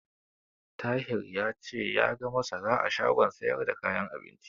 Tahir ya ce ya ga masara a shagon siyar da kayan abinci.